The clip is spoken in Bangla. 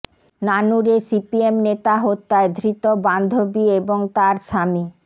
নানুরে সিপিএম নেতা হত্যায় ধৃত বান্ধবী এবং তাঁর স্বামী